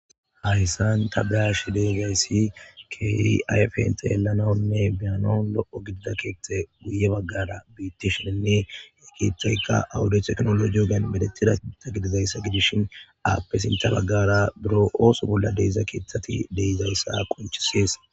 Hayssan ta baash deeggayssi kei ayf hinta yelanaonne biyanon lo'o gidida keethta guye baggara biittishennne e kiethtaykka awuditeknolo jogen medetida ita gididayssa gidishin aapphe sinta baggara biro ooso bolla deeza keeththati deizayssa qonchisees.